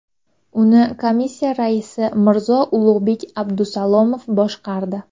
Uni komissiyasi raisi Mirzo-Ulug‘bek Abdusalomov boshqardi .